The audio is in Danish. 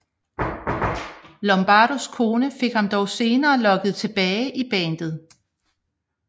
Lombardos kone fik ham dog senere lokket tilbage i bandet